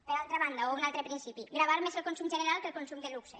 per altra banda o un altre principi gravar més el consum general que el consum de luxe